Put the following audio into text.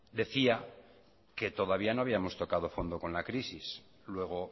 decía que todavía no habíamos tocado fondo con la crisis luego